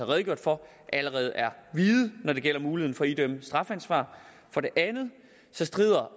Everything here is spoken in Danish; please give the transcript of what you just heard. redegjort for allerede er vide når det gælder muligheden for at idømme strafansvar for det andet strider